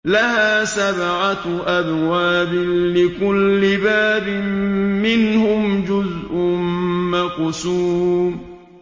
لَهَا سَبْعَةُ أَبْوَابٍ لِّكُلِّ بَابٍ مِّنْهُمْ جُزْءٌ مَّقْسُومٌ